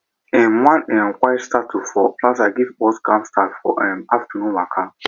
um one um quiet statue for plaza give us calm start for um afternoon waka